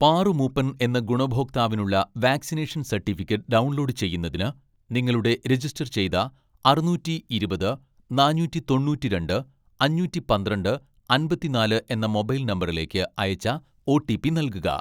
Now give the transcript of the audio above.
പാറു മൂപ്പൻ എന്ന ഗുണഭോക്താവിനുള്ള vaccination certificate download ചെയ്യുന്നതിന്, നിങ്ങളുടെ രജിസ്റ്റർ ചെയ്ത അറുനൂറ്റി ഇരുപത് നാനൂറ്റി തൊണ്ണൂറ്റിരണ്ട്‍ അഞ്ഞൂറ്റി പന്ത്രണ്ട് അമ്പത്തിനാല് എന്ന മൊബൈൽ നമ്പറിലേക്ക് അയച്ച ഓ.ടി.പി നൽകുക